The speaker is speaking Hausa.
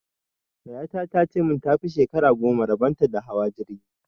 Yaya ta ta ce min ta fi shekara goma rabon ta da hawa jirgi!